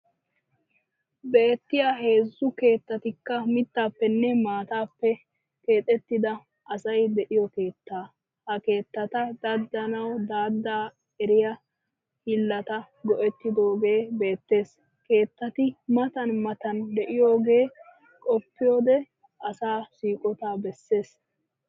Beettiya heezzu keettatikka mittaappenne maataappe keexettida asay de'iyo keetta. Ha keettata daddahanawu daddahaa eriya hiillata go'ettidooge beettees. Keettati matan matan de'iyogee qoppiyode asaa siiqotaa bessees.